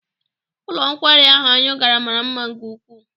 Ụlọ nkwari ahụ anyị gara mara mma nke ukwuu.